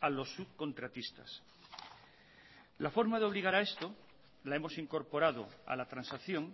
a los subcontratistas la forma de obligar a esto la hemos incorporado a la transacción